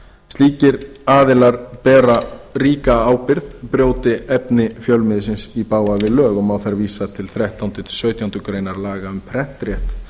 slíkir aðilar bera ríka ábyrgð brjóti efni fjölmiðilsins í bága við lög má þar vísa til þrettánda til sautjándu grein laga um prentrétt